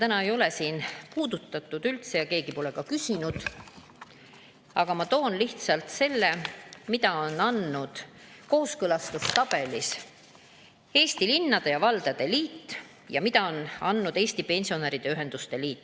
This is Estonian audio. Täna ei ole seda üldse puudutatud ja keegi pole selle kohta küsinud, aga ma toon lihtsalt välja selle, mida on öelnud kooskõlastustabelis Eesti Linnade ja Valdade Liit ning Eesti Pensionäride Ühenduste Liit.